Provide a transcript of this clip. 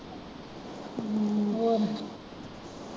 ਅਮ ਹੋਰ।